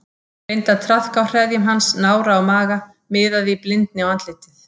Reyndi að traðka á hreðjum hans, nára og maga, miðaði í blindni á andlitið.